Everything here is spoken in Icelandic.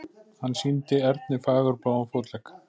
Hann sýndi Erni fagurbláan fótlegg.